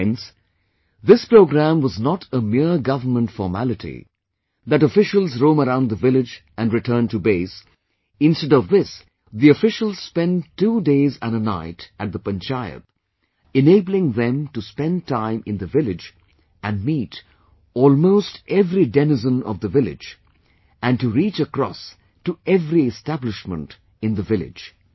Friends, this programme was not a mere Government formality that officials roam around the village and return to base, instead of this the officials spent two days and a night at the panchayat, enabling them to spend time in the village and meet almost every denizen of the village and to reach across to every establishment in the village